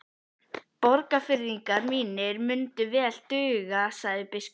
Borgfirðingar mínir munu vel duga, sagði biskup.